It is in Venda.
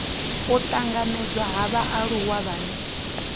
u tanganedzwa ha vhaaluwa vhane